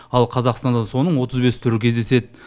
ал қазақстанда соның отыз бес түрі кездеседі